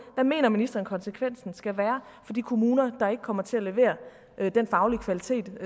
hvad mener ministeren konsekvensen skal være for de kommuner der ikke kommer til at levere den faglige kvalitet